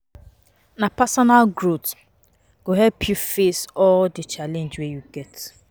Na personal growth go help you face all di challenge wey you get.